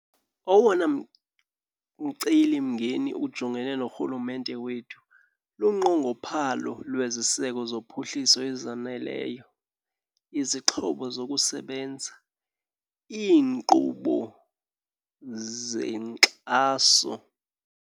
Owona mcelimngeni ujongene norhulumente wethu lunqongophalo lweziseko zophuhliso ezaneleyo, izixhobo zokusebenza, iinkqubo zenkxaso.